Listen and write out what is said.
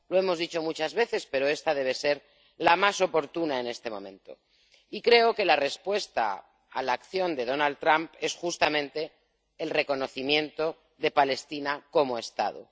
Lo hemos dicho muchas veces, pero esta debe ser la más oportuna en este momento y creo que la respuesta a la acción de Donald Trump es justamente el reconocimiento de Palestina como Estado.